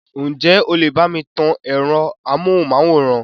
Ǹ jẹ́ o lè bá mi tan ẹ̀rọ amóhùnmáwòrán?